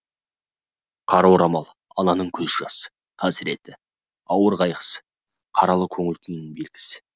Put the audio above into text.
қара орамал ананың көз жасы қасіреті ауыр қайғысы қаралы көңіл күйінің белгісі